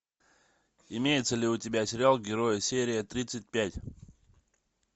имеется ли у тебя сериал герои серия тридцать пять